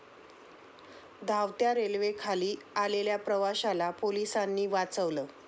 धावत्या रेल्वेखाली आलेल्या प्रवाशाला पोलिसांनी वाचवलं